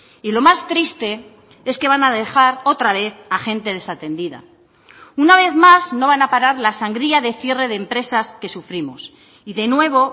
y lo más triste es que van a dejar otra vez a gente desatendida una vez más no van a parar la sangría de cierre de empresas que sufrimos y de nuevo